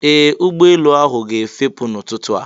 Ee! Ụgbọelu ahụ ga-efepụ n'ụtụtụ a.